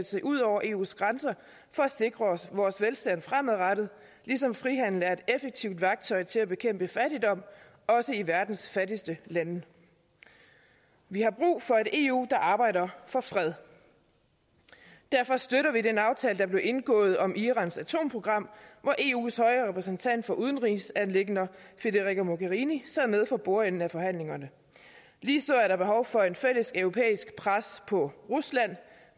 se ud over eus grænser for at sikre vores velstand fremadrettet ligesom frihandel også er et effektivt værktøj til at bekæmpe fattigdom i verdens fattigste lande vi har brug for et eu der arbejder for fred derfor støtter vi den aftale der blev indgået om irans atomprogram hvor eus høje repræsentant for udenrigsanliggender federica mogherini sad med for bordenden ved forhandlingerne ligeså er der behov for et fælleseuropæisk pres på rusland